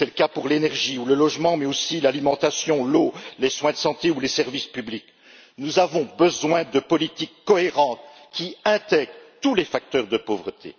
C'est le cas pour l'énergie et le logement, mais aussi l'alimentation, l'eau, les soins de santé ou les services publics. Nous avons besoin de politiques cohérentes qui intègrent tous les facteurs de pauvreté.